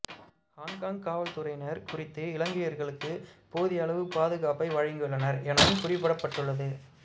Hong Kong காவல்துறையினர் குறித்த இலங்கையர்களுக்கு போதியளவு பாதுகாப்பை வழங்கியுள்ளனர் எனவும் குறிப்பிடப்பட்டுள்ளது